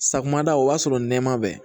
Safunɛ da o b'a sɔrɔ nɛma bɛ